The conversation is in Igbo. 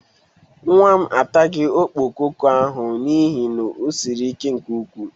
Nwa m ataghị okpokoko ahụ n'ihe na o siri ike nke ukwu.